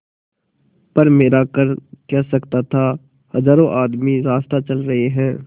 पर मेरा कर क्या सकता था हजारों आदमी रास्ता चल रहे हैं